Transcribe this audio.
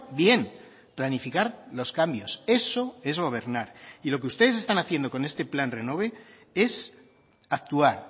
bien planificar los cambios eso es gobernar y lo que ustedes están haciendo con este plan renove es actuar